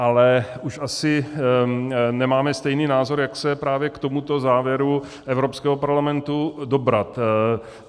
Ale už asi nemáme stejný názor, jak se právě k tomuto závěru Evropského parlamentu dobrat.